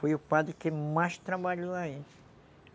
Foi o padre que mais trabalhou aí.